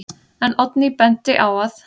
En Oddný benti á að: